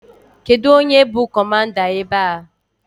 Kedụ onye bụ kọmanda ebe a?